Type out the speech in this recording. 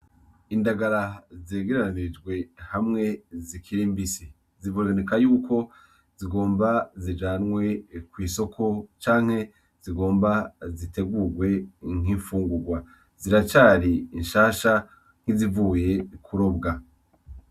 Indagara zegeranijwe hamwe zikiri mbisi ziboneka yuko zigomba zijanwe kw'isoko canke zigomba zitegurwe nk'infungurwa, ziracari nshasha nkizivuye kurobwa.